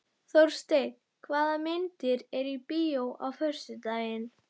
Þórsteinn, hvaða myndir eru í bíó á föstudaginn?